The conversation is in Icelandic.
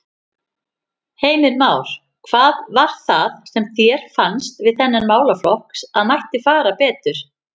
Heimir Már: Hvað var það sem þér fannst við þennan málaflokk að mætti fara betur?